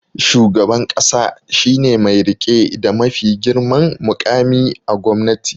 Shugaban ƙasa shi ne mai riƙe da mafi girman muƙami a gwamnati